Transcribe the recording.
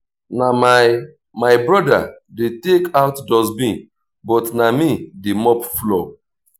na my my brother dey take out dustbin but na me dey mop floor